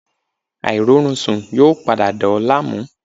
Airorunsun yoo pada dà ọ́ laamu